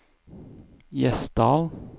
Gjesdal